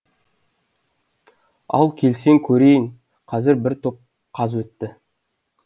ал келсең көрейін қазір бір топ қаз өтті